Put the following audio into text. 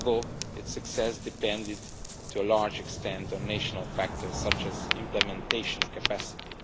although its success depended to a large extent on national factors such as implementation capacity.